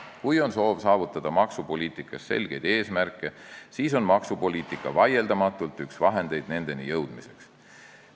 Kui on soov saavutada poliitikas selgeid eesmärke, siis on maksupoliitika vaieldamatult üks vahendeid nendeni jõudmiseks.